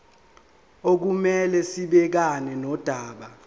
okumele sibhekane nodaba